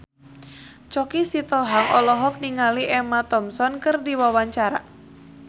Choky Sitohang olohok ningali Emma Thompson keur diwawancara